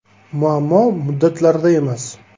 “Muammo muddatlarda emas.